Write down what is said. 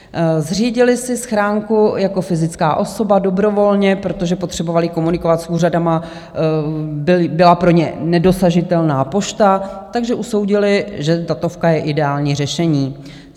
Zřídili si schránku jako fyzická osoba dobrovolně, protože potřebovali komunikovat s úřady, byla pro ně nedosažitelná pošta, takže usoudili, že datovka je ideální řešení.